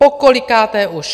Pokolikáté už!